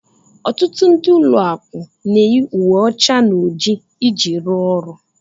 Ọtụtụ ndị ụlọ akụ na-eyi uwe ọcha na oji iji rụọ ọrụ